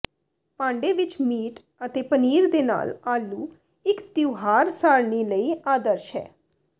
ਭਾਂਡੇ ਵਿੱਚ ਮੀਟ ਅਤੇ ਪਨੀਰ ਦੇ ਨਾਲ ਆਲੂ ਇੱਕ ਤਿਉਹਾਰ ਸਾਰਣੀ ਲਈ ਆਦਰਸ਼ ਹੈ